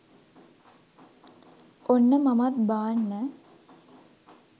ඔන්න මමත් බාන්න